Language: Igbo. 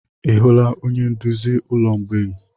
Ị hụla onye nduzi ụlọ mgbei?